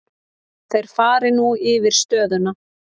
Þeir fari nú yfir stöðuna.